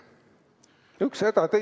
Üks häda teise järel!